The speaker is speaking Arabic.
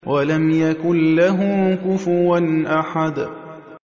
وَلَمْ يَكُن لَّهُ كُفُوًا أَحَدٌ